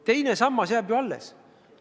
Teine sammas jääb ju alles.